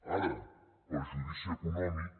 ara perjudici econòmic